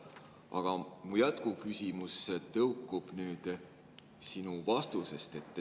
Aga mu jätkuküsimus tõukub sinu vastusest.